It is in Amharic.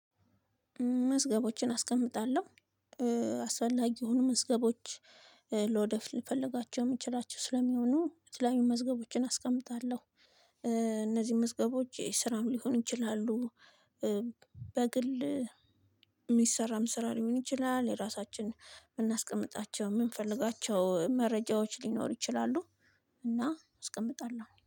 መዝገቦችን አስቀምጣለሁ። አስፈላጊ የሆኑ መዝገቦች ለወደፍ ልፈልጋቸው የምችላቸው ስለሚሆኑ የተለያዩ መዝገቦችን አስቀምጣለሁ። እነዚህ መዝገቦች ስራም ሊሆኑ ይችላሉ። በግል የሚሰራም ስራ ሊሆን ይችላል። የራሳችን የምናስቀምጣቸው የምንፈልጋቸው መረጃዎች ሊኖር ይችላሉ። እና እስቀምጣለሁ